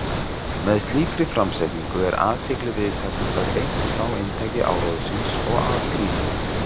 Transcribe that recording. með slíkri framsetningu er athygli viðtakenda beint frá inntaki áróðursins og að gríninu